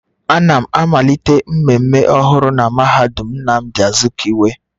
A na m amalite mmemme ọhụrụ na mahadum Nnamdi Azikiwe